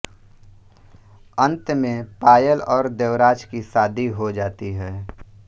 अंत में पायल और देवराज की शादी हो जाती है